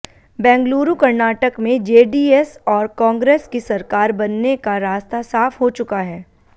बेंगलुरूः कर्नाटक में जेडीएस और कांग्रेस की सरकार बनने का रास्ता साफ हो चुका है